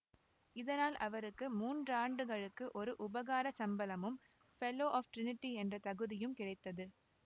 இதனால் அவருக்கு மூன்றாண்டுகளுக்கு ஒரு உபகாரச்சம்பளமும் ஃபெல்லோ ஆஃப் ட்ரினிடி என்ற தகுதியும் கிடைத்தது